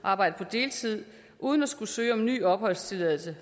arbejde på deltid uden at skulle søge om en ny opholdstilladelse